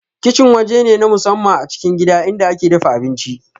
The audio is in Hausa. Kicin waje ne na musamman a cikin gida inda ake dafa abinci